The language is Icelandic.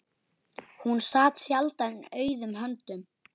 Hún sat sjaldan auðum höndum.